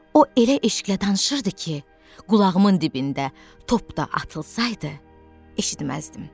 O elə eşqlə danışırdı ki, qulağımın dibində top da atılsaydı, eşitməzdim.